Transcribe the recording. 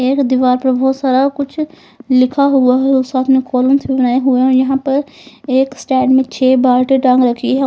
एक दिवार बहुत सारा कुछ लिखा हुआ है साथ में कॉलम यहां पर एक स्टैंड में छह बतौर टांग रखी है।